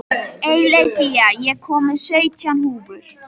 Eileiþía, ég kom með sautján húfur!